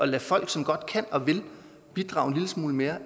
lade folk som godt kan og vil bidrage en lille smule mere